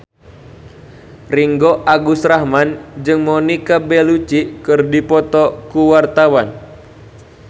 Ringgo Agus Rahman jeung Monica Belluci keur dipoto ku wartawan